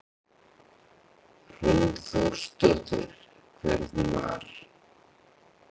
Hrund Þórsdóttir: Hvernig var?